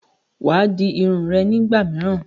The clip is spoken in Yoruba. Wàá di Irun rẹ nígbà míràn